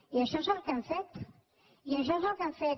i això és el que hem fet i això és el que hem fet